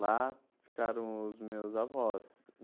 Lá ficaram os meus avós.